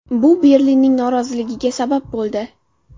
Bu Berlinning noroziligiga sabab bo‘ldi.